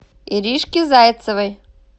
иришки зайцевой